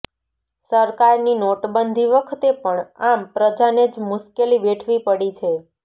સરકારની નોટબંધી વખતે પણ આમ પ્રજાને જ મુશ્કેલી વેઠવી પડી છે